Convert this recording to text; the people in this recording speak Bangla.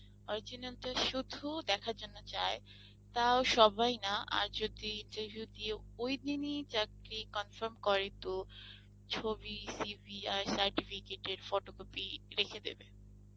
original টা সুধু দেখার জন্য চায় তাও সবাই না আর যদি ওই দিনই চাকরি confirm করে তো ছবি, CV , আর certificate এর photocopy রেখে দেবে